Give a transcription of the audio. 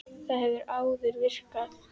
Það hefur áður virkað.